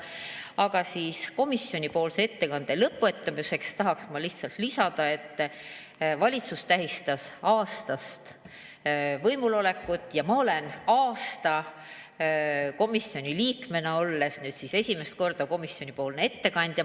Aga komisjoni ettekande lõpuks tahaksin ma lihtsalt lisada, et valitsus tähistas aastast võimulolekut ja mina, olles aasta komisjoni liige olnud, olen nüüd esimest korda komisjoni ettekandja.